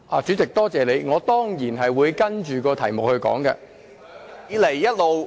主席，多謝你，我當然會針對議題發言。